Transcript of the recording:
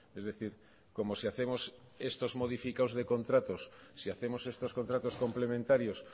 es decir como si hacemos estos modificados de contratos si hacemos estos contratos complementarios